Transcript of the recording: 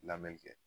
Lamɛli kɛ